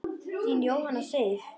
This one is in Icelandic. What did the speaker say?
Þín, Jóhanna Sif.